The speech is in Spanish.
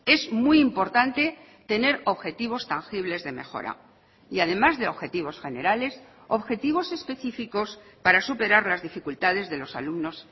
es muy importante tener objetivos tangibles de mejora y además de objetivos generales objetivos específicos para superar las dificultades de los alumnos